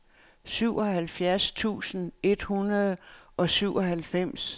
syvoghalvfjerds tusind et hundrede og syvoghalvfems